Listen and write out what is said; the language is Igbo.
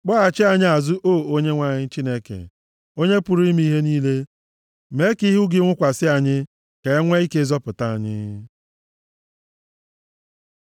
Kpọghachi anyị azụ, O Onyenwe anyị, Chineke, Onye pụrụ ime ihe niile mee ka ihu gị nwukwasị anyị, ka e nwee ike zọpụta anyị.